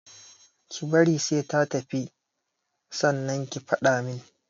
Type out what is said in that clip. Ki bari sai ta tafi sannan ki faɗa min